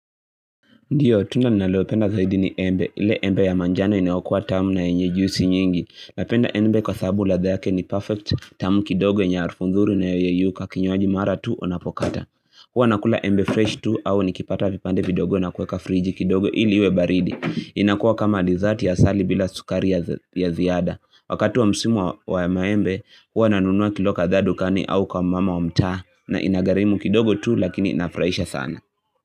Ndiyo, tunda ninalopenda zaidi ni embe. Ile embe ya manjano inayokuwa tamu na yenye juisi nyingi. Napenda embe kwa sababu ladha yake ni perfect, tamu kidogo yenye harufu nzuri inayoyeyuka. Kinywaji mara tu unapokata. Huwa nakula embe fresh tu, au nikipata vipande vidogo na kuweka friji kidogo ili iwe baridi. Inakuwa kama dizati ya asali bila sukari ya ziada. Wakatu wa msimu wa maembe, huwa nanunua kilo kadhaa dukani au kwa mama wa mtaa na ina gharimu kidogo tu, lakini inafurahisha sana.